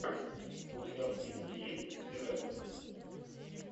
у тебя в списке есть тирэкс